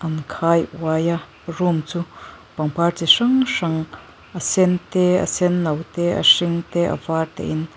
in khai uai a room chu pangpar chi hrang hrang a sen te a sen no te a hring te a var te in.